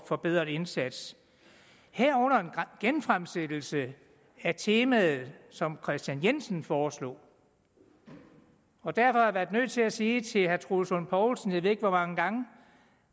forbedret indsats herunder en genfremsættelse af temaet som herre kristian jensen foreslog derfor har jeg været nødt til at sige til herre troels lund poulsen jeg ved ikke hvor mange gange